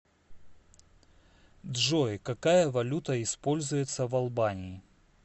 джой какая валюта используется в албании